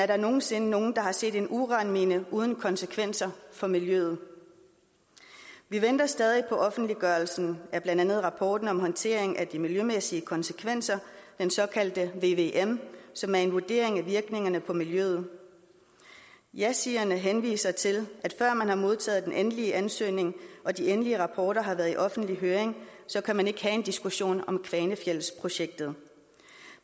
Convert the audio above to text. der nogen sinde nogen der har set en uranmine uden konsekvenser for miljøet vi venter stadig på offentliggørelsen af blandt andet rapporten om håndtering af de miljømæssige konsekvenser den såkaldte vvm som er en vurdering af virkningerne på miljøet jasigerne henviser til at før man har modtaget den endelige ansøgning og de endelige rapporter har været i offentlig høring kan man ikke have en diskussion om kvanefjeldsprojektet